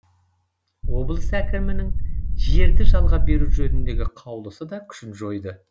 облыс әкімінің жерді жалға беру жөніндегі қаулысы да күшін жойды